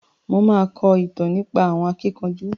Mo ma kọ ìtàn nípa àwọn akíkanjú.